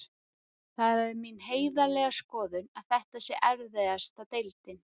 Það er mín heiðarlega skoðun að þetta sé erfiðasta deildin.